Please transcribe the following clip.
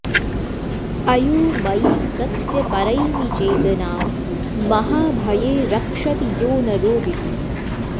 अयोमयीं तस्य परैमि चेतनां महाभये रक्षति यो न रोदिति